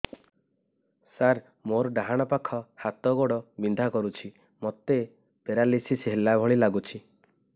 ସାର ମୋର ଡାହାଣ ପାଖ ହାତ ଗୋଡ଼ ବିନ୍ଧା କରୁଛି ମୋତେ ପେରାଲିଶିଶ ହେଲା ଭଳି ଲାଗୁଛି